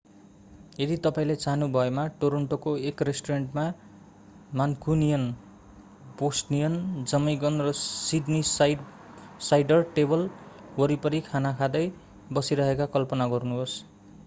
यदि तपाईंले चाहनुभएमा टोरन्टोको एक रेष्टुरेण्टमा मान्कुनियन बोस्टनियन जमैकन र सिड्नीसाइडर टेबल वरिपरि खाना खाँदै बसिरहेको कल्पना गर्नुहोस्